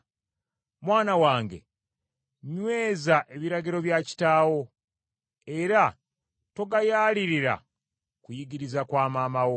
Mwana wange nyweza ebiragiro bya kitaawo, era togayaalirira kuyigiriza kwa maama wo.